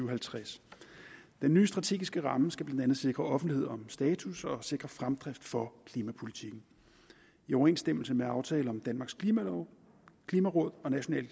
og halvtreds den nye strategiske ramme skal blandt andet sikre offentlighed om status og sikre fremdrift for klimapolitikken i overensstemmelse med aftale om danmarks klimalov klimaråd og nationale